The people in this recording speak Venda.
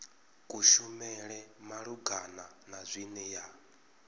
kushumele malugana na zwine ya